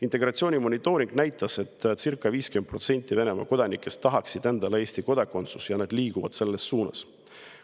Integratsiooni monitooring näitas, et circa 50% Venemaa kodanikest tahaksid endale Eesti kodakondsust ja nad liiguvad selles suunas.